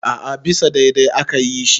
a a bisa daidai aka yi shi